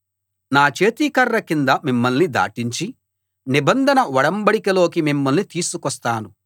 నా చేతి కర్ర కింద మిమ్మల్ని దాటించి నిబంధన ఒడంబడికలోకి మిమ్మల్ని తీసుకొస్తాను